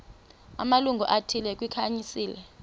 amalungu athile kwikhansile